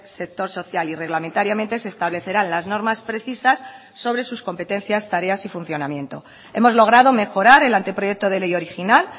sector social y reglamentariamente se establecerán las normas precisas sobre sus competencias tareas y funcionamiento hemos logrado mejorar el anteproyecto de ley original